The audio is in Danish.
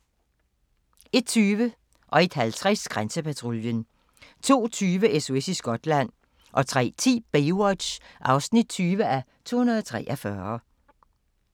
01:20: Grænsepatruljen 01:50: Grænsepatruljen 02:20: SOS i Skotland 03:10: Baywatch (20:243)